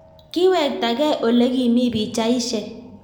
kiwektagei olekimi pichaishek